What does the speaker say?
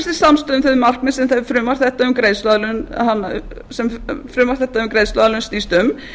til að ná sem víðtækastri samstöðu um þau markmið sem frumvarp þetta um greiðsluaðlögun snýst um